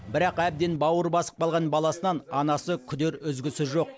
бірақ әбден бауыр басып қалған баласынан анасы күдер үзгісі жоқ